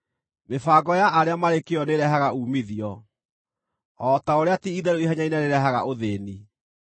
Mĩbango ya arĩa marĩ kĩyo nĩĩrehaga uumithio, o ta ũrĩa ti-itherũ ihenya inene rĩrehaga ũthĩĩni.